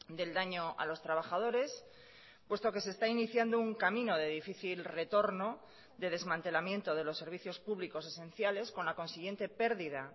del daño a los trabajadores puesto que se está iniciando un camino de difícil retorno de desmantelamiento de los servicios públicos esenciales con la consiguiente pérdida